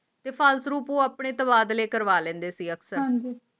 ਤੇ ਫ਼ਾਲਤੂ ਆਪਣੇ ਤਬਾਦਲੇ ਕਰਵਾ ਲੈਂਦੇ ਸੀ ਅਫਸਰ ਹਾਂ ਜੀ